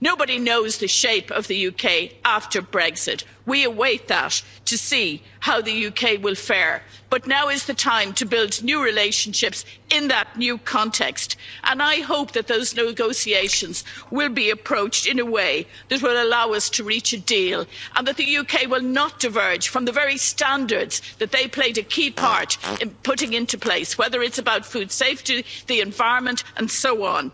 Nobody knows the shape of the UK after Brexit, we await that to see how the UK will fare. But now is the time to build new relationships in that new context, and I hope that those negotiations will be approached in a way that will allow us to reach a deal, and that the UK will not diverge from the very standards that they played a key part in putting into place, whether it's about food safety, the environment and so on.